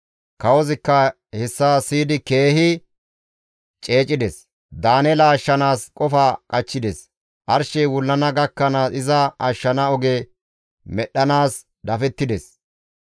Kawozikka hessa siyidi keehi ceecides; Daaneela ashshanaas qofa qachchides; arshey wullana gakkanaas iza ashshana oge medhdhanaas dafettides.